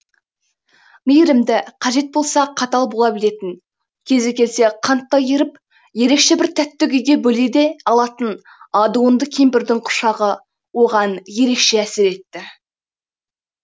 мейірімді қажет болса қатал бола білетін кезі келсе қанттай еріп ерекше бір тәтті күйге бөлей де алатын адуынды кемпірдің құшағы оған ерекше әсер етті